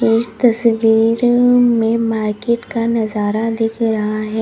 इस तस्वीर में मार्केट का नजारा दिख रहा है।